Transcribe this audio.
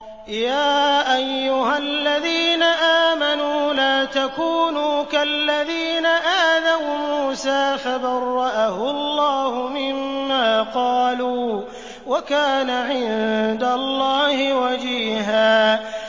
يَا أَيُّهَا الَّذِينَ آمَنُوا لَا تَكُونُوا كَالَّذِينَ آذَوْا مُوسَىٰ فَبَرَّأَهُ اللَّهُ مِمَّا قَالُوا ۚ وَكَانَ عِندَ اللَّهِ وَجِيهًا